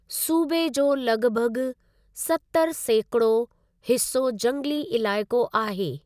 सूबे जो लॻभॻ सतरि सैकिड़ो हिसो जंगली इलाइक़ो आहे।